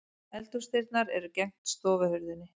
Eldhúsdyrnar eru gegnt stofuhurðinni.